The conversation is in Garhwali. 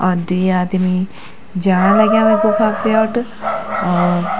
और द्वि आदमी जाण लग्याँ वे गुफा प्योट और --